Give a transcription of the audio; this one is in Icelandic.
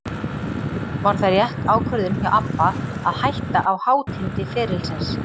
Var það rétt ákvörðun hjá ABBA að hætta á hátindi ferilsins?